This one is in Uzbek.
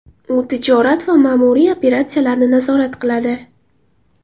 U tijorat va ma’muriy operatsiyalarni nazorat qiladi.